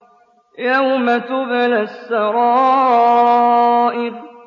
يَوْمَ تُبْلَى السَّرَائِرُ